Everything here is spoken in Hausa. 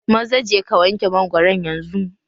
Maza je ka wanke mangwaron yanzu!